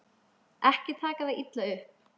Ekki taka það illa upp.